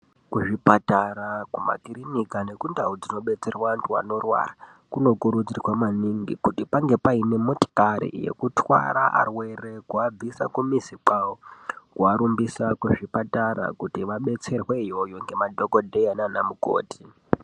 Kuzvipatara, kumakirinika nekundau dzinobetserwa antu anorwara. Kunokurudzirwa maningi kuti pange paine motikari yekutwara arwere. Kuabvisa kumizi kwavo kuvarumbisa kuzvipatara kuti vabetserwe iyoyo nemadhokodheya nana mukoti.